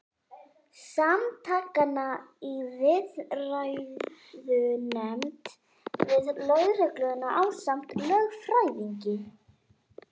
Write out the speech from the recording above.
Samtakanna í viðræðunefnd við lögregluna ásamt lögfræðingi.